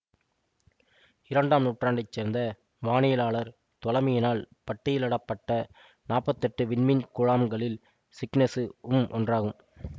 இரண்டாம் நூற்றாண்டை சேர்ந்த வானியலாளர் தொலமியினால் பட்டியலிடப்பட்ட நாற்பத்தி எட்டு விண்மீன் குழாம்களில் சிக்னசு ம் ஒன்றாகும்